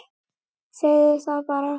Segðu það bara!